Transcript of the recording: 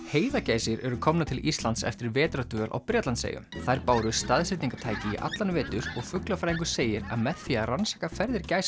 heiðagæsir eru komnar til Íslands eftir vetrardvöl á Bretlandseyjum þær báru staðsetningartæki í allan vetur og fuglafræðingur segir að með því að rannsaka ferðir